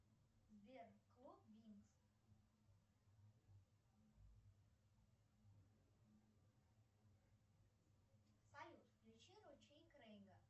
сбер клуб винкс салют включи ручей крейга